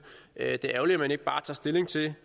er ærgerligt at man ikke bare tager stilling til det